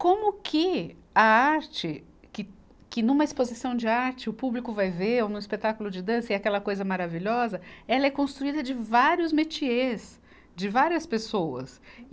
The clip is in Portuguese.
Como que a arte que, que numa exposição de arte, o público vai ver, ou num espetáculo de dança, é aquela coisa maravilhosa, ela é construída de vários metiês, de várias pessoas.